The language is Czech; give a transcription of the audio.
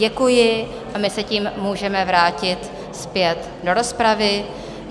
Děkuji a my se tím můžeme vrátit zpět do rozpravy.